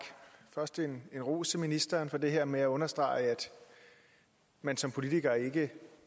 først en ros til ministeren for det her med at understrege at man som politiker ikke